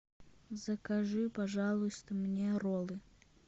закажи пожалуйста мне роллы